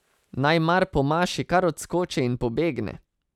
Naj mar po maši kar odskoči in pobegne?